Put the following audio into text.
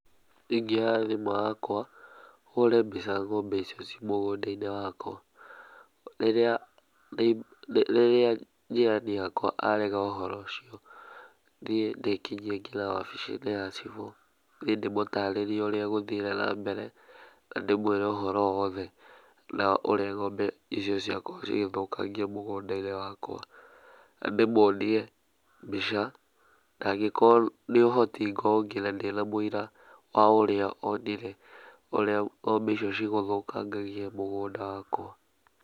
Niĩ ingĩoya thimũ yakwa, hũre mbica ng'ombe icio ci mũgũnda-inĩ wakwa. Rĩrĩa jirani yakwa arega ũhoro ũcio, thiĩ ndĩkinyie nginya obici-inĩ ya cibu, thiĩ ndĩmũtarerie ũrĩa gũthire na mbere, na ndĩmwĩre ũhoro wothe na ũrĩa ngombe icio ciakorwo cigĩthũkangĩa mũgũnda-inĩ wakwa. Na ndĩmũonie mbica, na angĩkorwo ndĩ na ũhoti ngorwo ngina ndĩna mũira wa ũrĩa onire ũrĩa ngombe icio cigũthũkangagia mũgũnda wakwa.